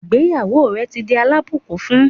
Ìgbéyàwó rẹ̀ ti di alábùkún fún